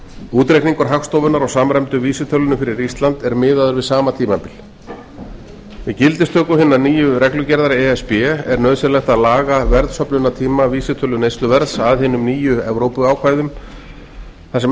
útreikningur hagstofunnar á samræmdu vísitölunni fyrir ísland er miðaður við sama tímabil með gildistöku hinnar nýju reglugerðar e s b er nauðsynlegt að laga verðsöfnunartíma vísitölu neysluverðs að hinum nýju evrópuákvæðum þar sem